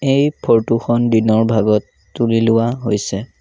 এই ফটো খন দিনৰ ভাগত তুলি লোৱা হৈছে।